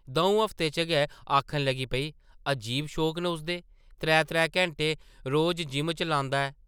दʼऊं हफ्तें च गै आखन लगी पेई, अजीब शौक न उसदे! त्रै-त्रै घैंटे रोज जिम च लांदा ऐ ।